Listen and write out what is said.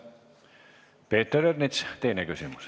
Peeter Ernits, teine küsimus.